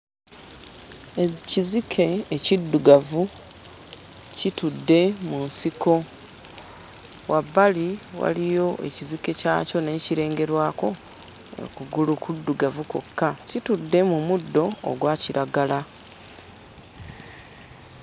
Ekizike ekiddugavu kitudde mu nsiko wabbali waliyo ekizike kyakyo naye kirengerwako kugulu kuddugavu kwokka kitudde mu muddo ogwa kiragala.